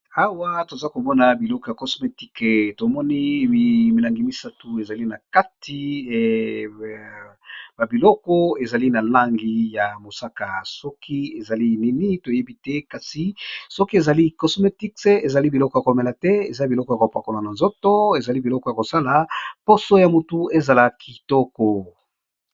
Awa toza komona biloko ya cosmétice tomoni milangi misatu ezali na kati babiloko ezali na langi ya mosaka soki ezali nini toyebi te kasi soki ezali cosmétic ezali biloko ya komela te eza biloko ya koprakona na nzoto ezali biloko ya kosala poso ya motu ezala kitoko.